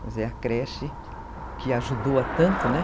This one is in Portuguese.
Quer dizer, a creche que ajudou a tanto, né?